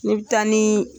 Ne bɛ taa ni